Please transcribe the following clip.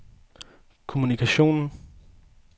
kommunikation